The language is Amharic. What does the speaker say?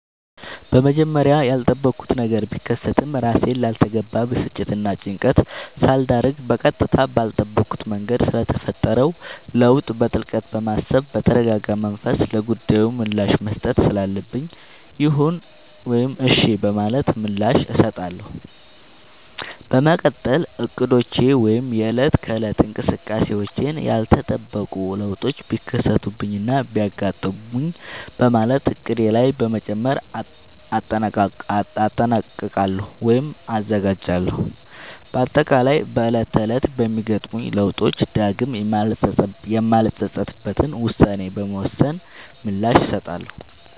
በመጀመሪያ ያልጠበኩት ነገር ቢከሰትም እራሴን ላልተገባ ብስጭትናጭንቀት ሳልዳርግ በቀጥታ ባልጠበኩት መንገድ ስለተፈጠረው ለውጥ በጥልቀት በማሰብ በተረጋጋመንፈስ ለጉዳዩ ምላሽ መስጠት ስላለብኝ ይሁን ወይም እሽ በማለት ምላሽ እሰጣለሁ። በመቀጠል እቅዶቼ ወይም የእለት ከእለት እንቅስቃሴዎቼን ያልተጠበቁ ለውጦች ቢከሰቱብኝናቢያጋጥሙኝ በማለት እቅዴ ላይ በመጨመር እጠነቀቃሉ ወይም እዘጋጃለሁ። በአጠቃላይ በእለት ተእለት በሚገጥሙኝ ለውጦች ዳግም የማልፀፀትበትን ውሳኔ በመወሰን ምላሽ እሰጣለሁ።